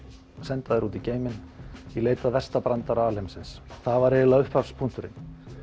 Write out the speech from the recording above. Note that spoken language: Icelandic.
senda þær út í geiminn í leit að versta brandara alheimsins það var eiginlega upphafspunkturinn